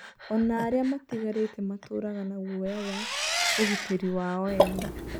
O na arĩa matigarĩte matũũraga na guoya wa ũgitĩri wao ene